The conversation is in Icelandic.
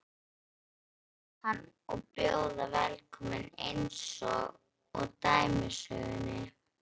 Mun einhver sjá hann og bjóða velkominn einsog í dæmisögunni?